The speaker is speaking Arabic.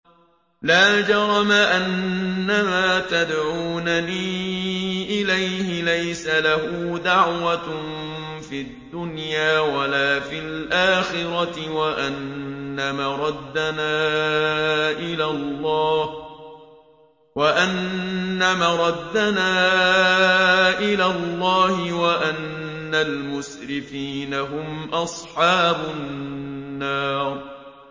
لَا جَرَمَ أَنَّمَا تَدْعُونَنِي إِلَيْهِ لَيْسَ لَهُ دَعْوَةٌ فِي الدُّنْيَا وَلَا فِي الْآخِرَةِ وَأَنَّ مَرَدَّنَا إِلَى اللَّهِ وَأَنَّ الْمُسْرِفِينَ هُمْ أَصْحَابُ النَّارِ